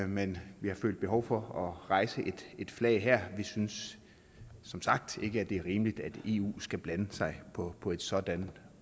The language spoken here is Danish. men vi har følt behov for rejse et flag her vi synes som sagt ikke det er rimeligt at eu skal blande sig på på et sådant